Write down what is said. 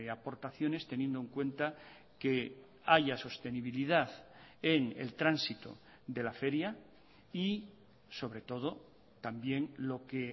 aportaciones teniendo en cuenta que haya sostenibilidad en el tránsito de la feria y sobre todo también lo que